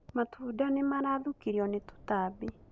Matunda nĩ marathũkirio nĩ tũtambi